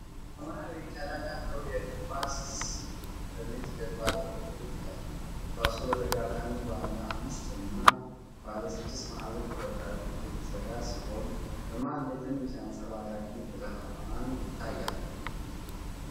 ሰማያዊ ቀለም ያለው የእግር ኳስ ኳስ በነጭ ጀርባ ላይ ጎልቶ ይታያል። ኳሱ በተጋጠሙ ባለ አምስት እና ባለ ስድስት ማዕዘን ቁርጥራጮች የተሰራ ሲሆን፤ በመሃል ላይ ትንሽ አንጸባራቂ ብርሃን ይታያል።